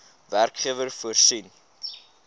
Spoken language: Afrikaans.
werkgewer voorsien